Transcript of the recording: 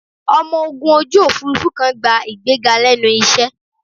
Ọmọ ogun ojú Òfurufú kan gba ìgbéga lẹ́nu iṣẹ́